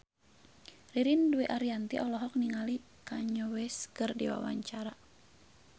Ririn Dwi Ariyanti olohok ningali Kanye West keur diwawancara